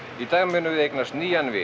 í dag munum við eignast nýjan vin